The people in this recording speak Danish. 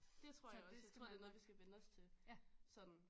Dét tror jeg også jeg tror det er noget vi skal vænne os til sådan